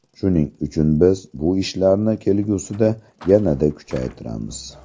Shuning uchun biz bu ishlarni kelgusida yanada kuchaytiramiz.